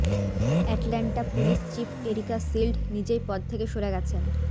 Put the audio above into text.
Atlanta police chief Erika Shield নিজেই পদ থেকে সরে গেছেন